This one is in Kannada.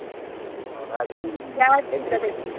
ಓ ಹಾಗೆ .